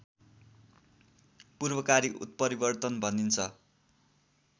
पूर्वकारी उत्परिवर्तन भनिन्छ